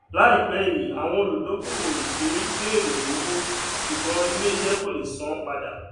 láìpẹ yìí àwọn olùdókòwò ìpín bẹrẹ owó ṣùgbón ilé iṣẹ kọ lè san padà